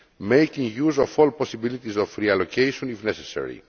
making use of all possibilities of reallocation if necessary.